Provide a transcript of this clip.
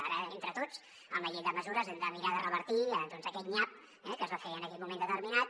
ara entre tots amb la llei de mesures hem de mirar de revertir aquest nyap que es va fer en aquell moment determinat